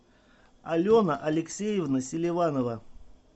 алена алексеевна селиванова